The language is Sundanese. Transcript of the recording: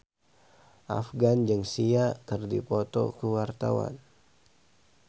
Afgan jeung Sia keur dipoto ku wartawan